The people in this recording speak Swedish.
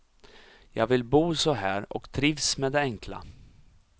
Jag vill bo så här och trivs med det enkla.